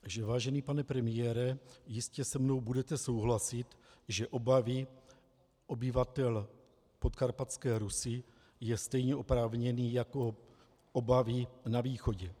Vážený pane premiére, jistě se mnou budete souhlasit, že obavy obyvatel Podkarpatské Rusi jsou stejně oprávněné jako obavy na východě.